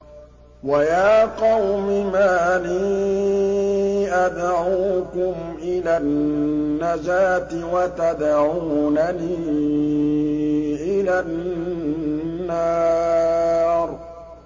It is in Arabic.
۞ وَيَا قَوْمِ مَا لِي أَدْعُوكُمْ إِلَى النَّجَاةِ وَتَدْعُونَنِي إِلَى النَّارِ